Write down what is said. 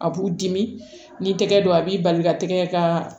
A b'u dimi n'i tɛgɛ don a b'i bali ka tɛgɛ ka